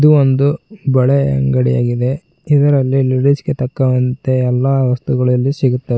ಇದು ಒಂದು ಬಳೆ ಅಂಗಡಿಯಾಗಿದೆ ಇದರಲ್ಲಿ ಲೇಡೀಸ್ ಗೆ ತಕ್ಕಂತೆ ಎಲ್ಲಾ ವಸ್ತುಗಳಿಲ್ಲಿ ಸಿಗುತ್ತವೆ.